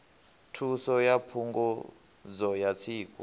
thuso ya phungudzo ya tsiku